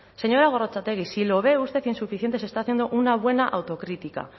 señora gorrotxategi si lo ve usted insuficiente se está haciendo una buena autocrítica